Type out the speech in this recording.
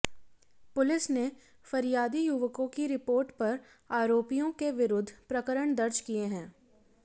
police ने फरियादी युवकों की रिपोर्ट पर आरोपियों के विरुद्ध प्रकरण दर्ज किये हैं